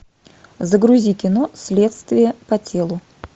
загрузи кино следствие по телу